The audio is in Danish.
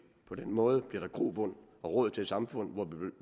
på den måde bliver der grobund og råd til et samfund